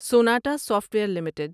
Sonata software limited